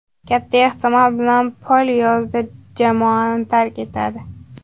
Katta ehtimol bilan Pol yozda jamoani tark etadi.